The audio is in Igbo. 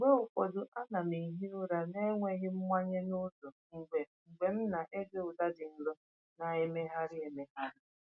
Mgbe ụfọdụ, ana m ehi ụra n'enweghi mmanye n’ụzọ mgbe mgbe m na-ege ụda dị nro, na-emegharị emegharị.